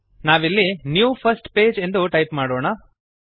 ನಾವಿಲ್ಲಿnew first page ಎಂದು type ಮಾಡೋಣ